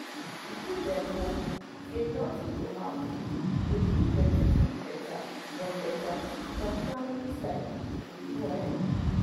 to give dem hope say nothing go happen dey push dem to live better from better from family side true true ehn